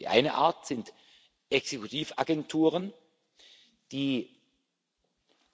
Die eine Art sind Exekutivagenturen, die